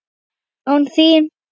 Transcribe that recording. ÁN ÞÍN!?